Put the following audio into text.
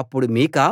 అప్పుడు మీకా